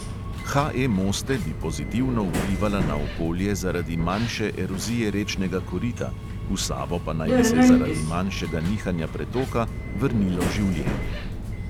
HE moste bi pozitivno vplivala na okolje zaradi manjše erozije rečnega korita, v savo pa naj bi se zaradi manjšega nihanja pretoka vrnilo življenje.